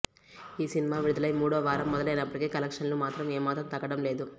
ఈ సినిమా విడుదలై మూడో వారం మొదలైనప్పటికీ కలెక్షన్లు మాత్రం ఏమాత్రం తగ్గడం లేదు